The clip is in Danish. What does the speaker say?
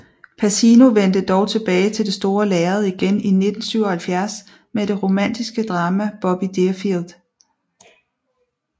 Pacino vendte dog tilbage til det store lærred igen i 1977 med det romantiske drama Bobby Deerfield